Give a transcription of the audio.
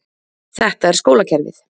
Þetta er skólakerfið.